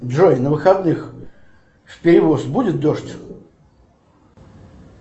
джой на выходных в перевоз будет дождь